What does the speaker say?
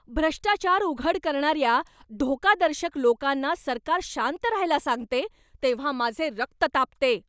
भ्रष्टाचार उघड करणाऱ्या धोकादर्शक लोकांना सरकार शांत रहायला सांगते तेव्हा माझे रक्त तापते.